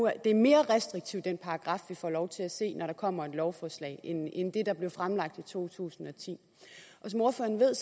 at det er mere restriktivt den paragraf vi får lov til at se når der kommer et lovforslag end det der blev fremlagt i to tusind og ti som ordføreren ved